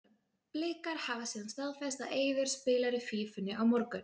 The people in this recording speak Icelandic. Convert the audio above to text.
Blikar hafa síðan staðfest að Eiður spilar í Fífunni á morgun.